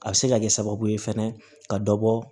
A bɛ se ka kɛ sababu ye fɛnɛ ka dɔ bɔ